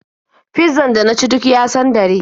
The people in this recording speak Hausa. Fizzan da na ci duk ya sandare.